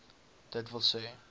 d w s